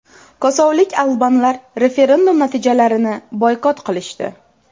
Kosovolik albanlar referendum natijalarini boykot qilishdi.